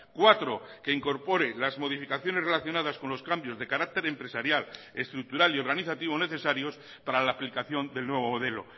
cuatro que incorpore las modificaciones relacionadas con los cambios de carácter empresarial estructural y organizativo necesarios para la aplicación del nuevo modelo